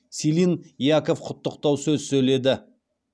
силин яков құттықтау сөз сөйледі